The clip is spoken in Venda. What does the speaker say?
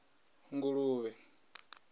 nguluvha